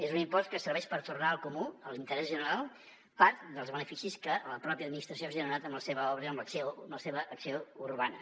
és un impost que serveix per tornar al comú a l’interès general part dels beneficis que la pròpia administració ha generat amb la seva obra amb la seva acció urbana